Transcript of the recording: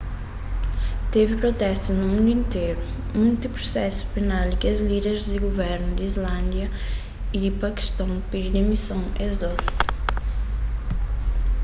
tevi protestus na mundu interu monti prusesu penal y kes líder di guvernus di islándia y di pakiston pidi dimison es dôs